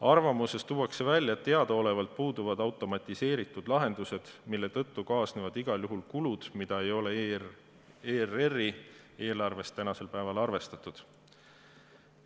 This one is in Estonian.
Arvamuses tuuakse välja, et teadaolevalt puuduvad automatiseeritud lahendused, mille tõttu kaasnevad igal juhul kulud, millega ei ole ERR-i eelarves tänasel päeval arvestatud.